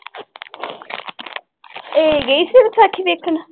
ਇਹ ਗਈ ਸੀ ਵਿਸਾਖੀ ਦੇਖਣ?